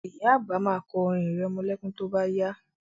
Ìyá àgbà ma kọ orin irẹmọlẹ́kún tó bá yá